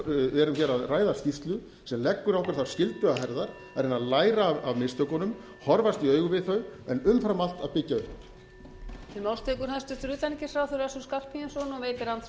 erum hér að ræða skýrslu sem leggur okkur þá skyldu á herðar að reyna að læra af mistökunum horfast í augu við þau en umfram allt að byggja upp